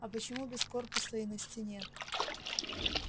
а почему без корпуса и на стене